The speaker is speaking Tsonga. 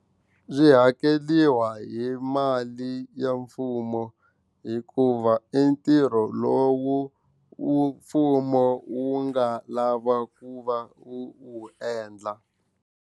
Byi hakeriwa hi mali ya mfumo hikuva i ntirho lowu mfumo wu nga lava ku va wu wu endla.